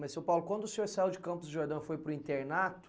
Mas, seu Paulo, quando o senhor saiu de Campos do Jordão e foi para o internato,